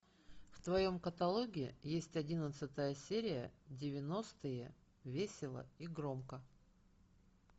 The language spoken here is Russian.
в твоем каталоге есть одиннадцатая серия девяностые весело и громко